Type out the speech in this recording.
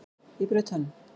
Ég braut tönn!